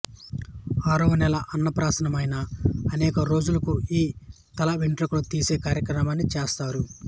ఆరవ నెల అన్నప్రాసమైన అనేక రోజులకు ఈ తలవెండ్రుకలు తీసే కార్యాన్ని చేస్తారు